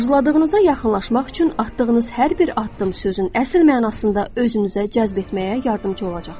Arzuladığınıza yaxınlaşmaq üçün atdığınız hər bir addım sözün əsl mənasında özünüzə cəzb etməyə yardımçı olacaqdır.